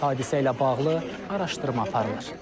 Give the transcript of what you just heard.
Hadisə ilə bağlı araşdırma aparılır.